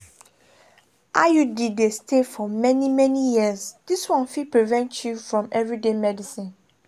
iud dey stay for many-many years this one fit prevent you from everyday medicines.